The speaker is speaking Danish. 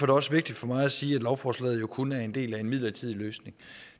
det også vigtigt for mig at sige at lovforslaget jo kun er en del af en midlertidig løsning